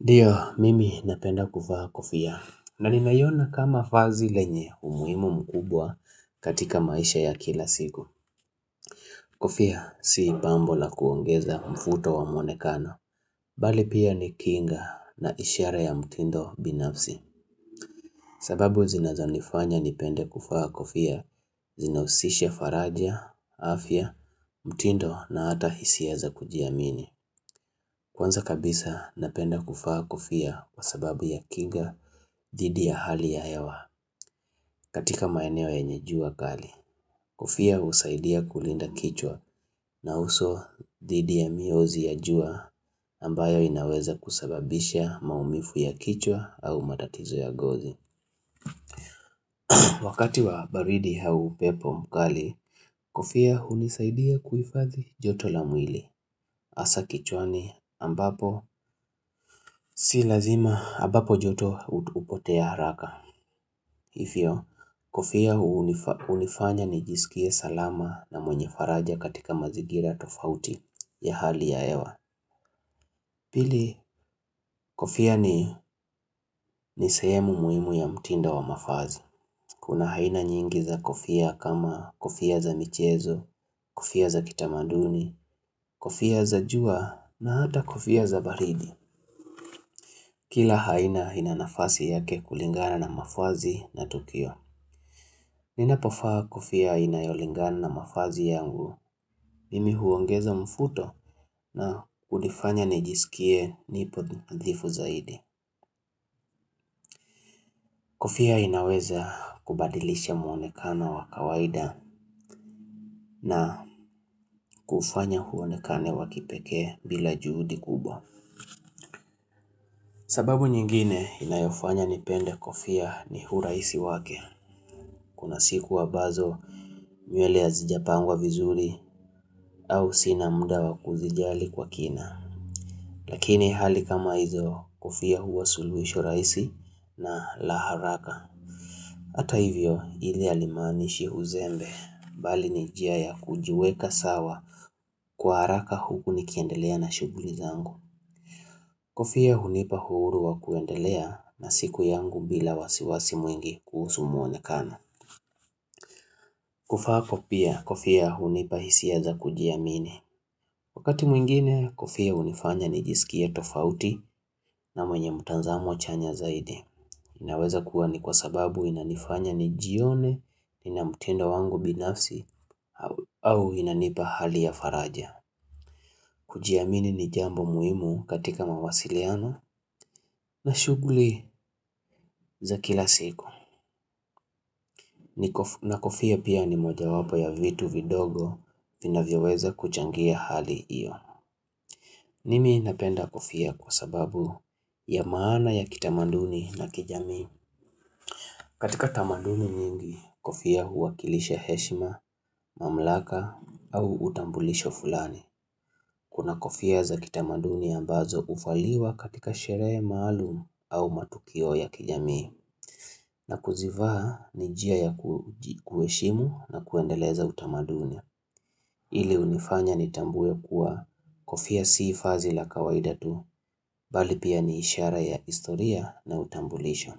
Ndiyo, mimi napenda kuvaa kofia, na ninaiona kama vazi lenye umuhimu mkubwa katika maisha ya kila siku. Kofia si pambo la kuongeza mvuto wa mwonekano. Bali pia ni kinga na ishara ya mtindo binafsi. Sababu zinazonifanya nipende kuvaa kofia, zinahusisha faraja, afya, mtindo na hata hisia za kujiamini. Kwanza kabisa napenda kuvaa kofia kwa sababu ya kinga. Dhidi ya hali ya hewa katika maeneo yenye jua kali Kofia husaidia kulinda kichwa na uso dhidi ya miozi ya jua ambayo inaweza kusababisha maumivu ya kichwa au matatizo ya ngozi Wakati wa baridi au upepo mkali Kofia hunisaidia kuhifadhi joto la mwili Hasa kichwani ambapo si lazima ambapo joto hupotea haraka Hivyo, kofia hunifanya nijisikie salama na mwenye faraja katika mazingira tofauti ya hali ya hewa. Pili, kofia ni ni sehemu muhimu ya mtinda wa mavazi. Kuna haina nyingi za kofia kama kofia za michezo, kofia za kitamanduni, kofia za jua na hata kofia za baridi. Kila aina ina nafasi yake kulingana na mavazi na tukio. Ninapo vaa kofia inayolingana na mavazi yangu, mimi huongeza mvuto na kunifanya nijisikie nipo nathifu zaidi. Kofia inaweza kubadilisha mwonekana wa kawaida na kufanya uonekane wa kipekee bila juhudi kubwa. Sababu nyingine inayofanya nipende kofia ni hurahisi wake, kuna siku ambazo nywele hazijapangwa vizuri au sina mda wa kuzijali kwa kina. Lakini hali kama hizo kofia huwa suluhisho rahisi na laharaka Hata hivyo hili halimaanishi uzembe bali ni njia ya kujiweka sawa kwa haraka huku nikiendelea na shughuli zangu Kofia hunipa uhuru wa kuendelea na siku yangu bila wasiwasi mwingi kuhusu mwonekano kuvaa pia kofia hunipa hisia za kujiamini Wakati mwingine kofia hunifanya nijisikia tofauti na mwenye mtazamo chanya zaidi inaweza kuwa ni kwa sababu inanifanya nijione, Nina mtindo wangu binafsi, au inanipa hali ya faraja. Kujiamini ni jambo muhimu katika mawasiliano na shughuli za kila siku. Na kofia pia ni mojawapo ya vitu vidogo vinavyoweza kuchangia hali hiyo. Mimi napenda kofia kwa sababu ya maana ya kitamaduni na kijamii. Katika tamaduni mingi, kofia huwakilisha heshima, mamlaka au utambulisho fulani. Kuna kofia za kitamaduni ambazo huvaliwa katika sherehe maalum au matukio ya kijamii. Na kuzivaa ni njia ya kuheshimu na kuendeleza utamaduni. Ile hunifanya nitambue kuwa kofia sii vazi la kawaida tu, bali pia ni ishara ya historia na utambulisho.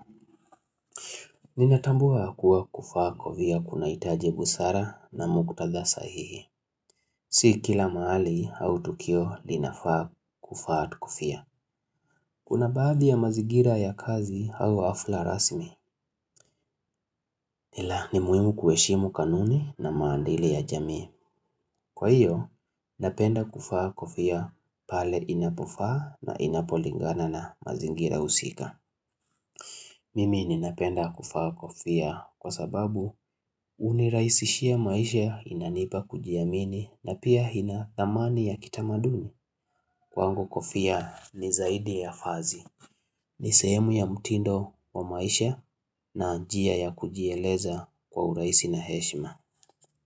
Ninatambua kuwa kuvaa kofia kunahitaji busara na muktadha sahihi Si kila mahali au tukio linafaa kuvaa tu kofia Kuna baadhi ya mazigira ya kazi au hafla rasmi ila ni muhimu kuheshimu kanuni na maadili ya jamii. Kwa hiyo, napenda kuvaa kofia pale inapofaa na inapolingana na mazingira husika Mimi ninapenda kuvaa kofia kwa sababu hunirahisishia maisha inanipa kujiamini na pia ina thamani ya kitamaduni. Kwangu kofia ni zaidi ya vazi. Ni sehemu ya mutindo wa maisha na njia ya kujieleza kwa urahisi na heshima.